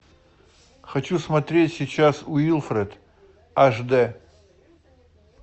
хочу смотреть сейчас уилфред аш дэ